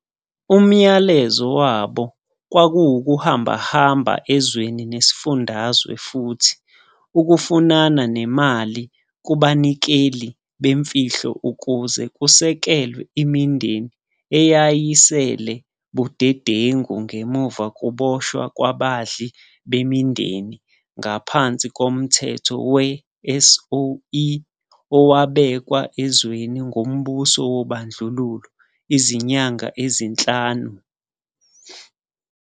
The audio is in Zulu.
Umyalezo wabo kwakuwuuhamba-hamba ezweni nesifundazwe futhi ukufunana nemali kubanikeli bemfihlo ukuze kusekelwe imindeni eyayisele budedengu ngemuva kuboshwa kwabandli bemindeni ngaphansi komthetho we-SOE owabekwa ezweni ngumbuso wobandlululo izinyanga ezinhlanu.